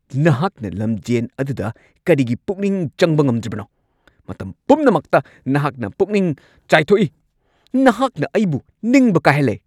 ꯅꯍꯥꯛꯅ ꯂꯝꯖꯦꯟ ꯑꯗꯨꯗ ꯀꯔꯤꯒꯤ ꯄꯨꯛꯅꯤꯡ ꯆꯪꯕ ꯉꯝꯗ꯭ꯔꯤꯕꯅꯣ? ꯃꯇꯝ ꯄꯨꯝꯅꯃꯛꯇ ꯅꯍꯥꯛ ꯄꯨꯛꯅꯤꯡ ꯆꯥꯏꯊꯣꯛꯏ꯫ ꯅꯍꯥꯛꯅ ꯑꯩꯕꯨ ꯅꯤꯡꯕ ꯀꯥꯏꯍꯜꯂꯦ ꯫